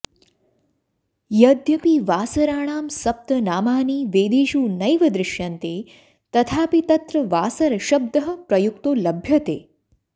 यद्यपि वासराणां सप्त नामानि वेदेषु नैव दृश्यन्ते तथापि तत्र वासरशब्दः प्रयुक्तो लभ्यते